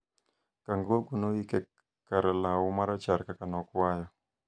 Kangogo noyike ka lau marachar kaka nokwayo